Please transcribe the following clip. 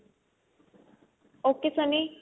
ok Sunny